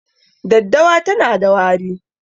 Daddawa tana da wari